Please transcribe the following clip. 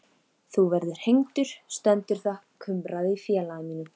Þú verður hengdur stendur þar kumraði í félaga mínum.